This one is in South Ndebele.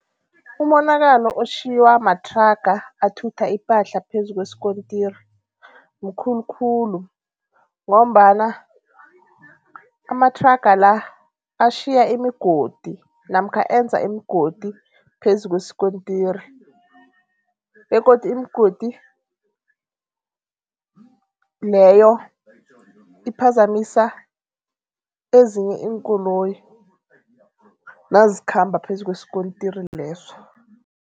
Umonakalo otjhiywa mathraga athutha ipahla phezu kweskontiri mkhulu khulu ngombana amathraga la atjhiya imigodi namkha enza imigodi phezu kweskontiri begodu imigodi leyo iphazamisa ezinye iinkoloyi, nazikhamba phezu kweskontiri leso.